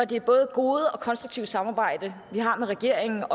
det både gode og konstruktive samarbejde vi har med regeringen